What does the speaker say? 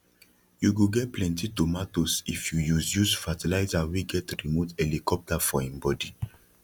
you go get plenty tomatoes if you use use fertilizer wey get remote helicopter for him body